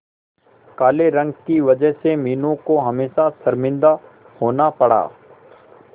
काले रंग की वजह से मीनू को हमेशा शर्मिंदा होना पड़ा